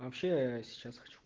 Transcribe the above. вообще ээ сейчас хочу